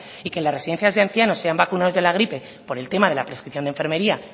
y que en las residencias de ancianos sean vacunados de la gripe por el tema de la prescripción de enfermería